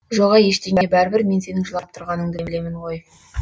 жоға ештеңе бәрібір мен сенің жылап тұрғаныңды білемін ғой